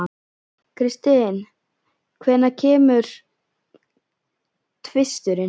Kristin, hvenær kemur tvisturinn?